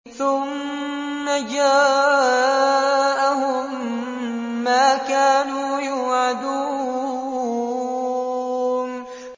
ثُمَّ جَاءَهُم مَّا كَانُوا يُوعَدُونَ